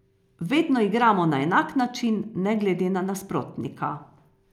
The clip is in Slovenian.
Vedno igramo na enak način, ne glede na nasprotnika.